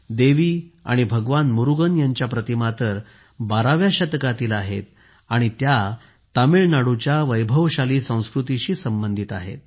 देवी आणि भगवान मुरुगन यांच्या प्रतिमा तर 12 व्या शतकातील आहेत आणि त्या तामिळनाडूच्या वैभवशाली संस्कृतीशी संबंधित आहेत